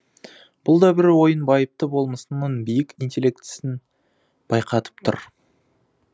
бұл да бір оның байыпты болмысының биік интеллектісін байқатып тұр